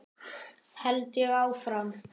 held ég áfram.